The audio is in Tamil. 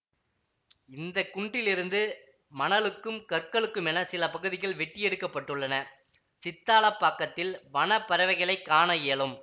இந்த குன்றிலிருந்து மணலுக்கும் கற்களுக்குமெனச் சில பகுதிகள் வெட்டியெடுக்கப்படுள்ளன சித்தாலப்பாக்கத்தில் வன பறவைகளை காண இயலும்